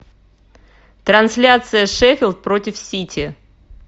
трансляция шеффилд против сити